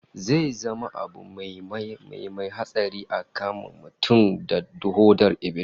Zai zama abu mai mai hatsari a kama mutum da hodar ibilis